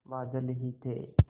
बादल ही थे